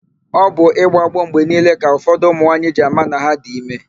Ọ bụ ịgbọ agbọ mgbe niile ka ụfọdụ ụmụnwaanyị ji ama na ha dị ime.